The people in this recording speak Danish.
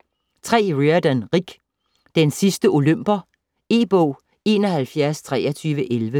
Riordan, Rick: Den sidste olymper E-bog 712311